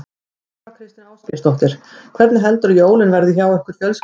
Þóra Kristín Ásgeirsdóttir: Hvernig heldurðu að jólin verði hjá ykkur fjölskyldunni?